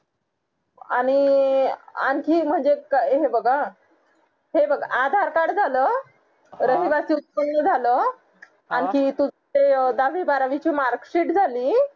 आणि आणखी म्हणजे हे बघ हां हे बघ aadhaar card झालं रहिवासी उत्पन्न झालं आणखी तू ते दहावी बारावी ची mark sheet झाली